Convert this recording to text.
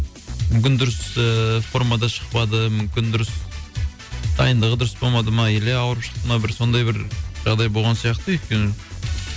мүмкін дұрыс ыыы формада шықпады мүмкін дұрыс дайындығы дұрыс болмады ма или ауырып шықты ма бір сондай бір жағдай болған сияқты өйткені